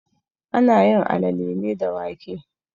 Ana yin alale ne da wake.